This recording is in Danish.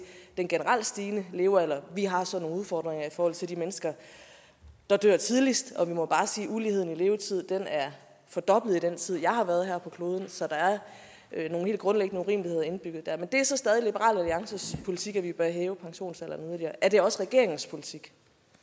den generelt stigende levealder vi har så nogle udfordringer i forhold til de mennesker der dør tidligst og vi må bare sige at uligheden i levetid er fordoblet i den tid jeg har været her på kloden så der er nogle helt grundlæggende urimeligheder indbygget der men det er så stadig liberal alliances politik at vi bør hæve pensionsalderen yderligere er det også regeringens politik